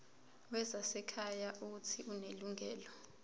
wezasekhaya uuthi unelungelo